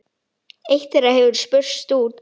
Eitt þeirra hefur spurst út.